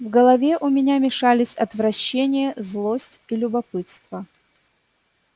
в голове у меня мешались отвращение злость и любопытство